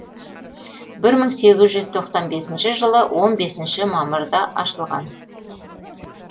бір мың сегіз жүз тоқсан бесінші жылы он бесінші мамырда ашылған